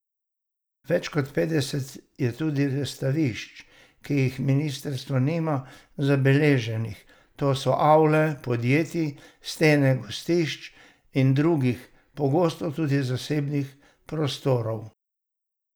Več kot petdeset je tudi razstavišč, ki jih ministrstvo nima zabeleženih, to so avle podjetij, stene gostišč in drugih, pogosto tudi zasebnih prostorov.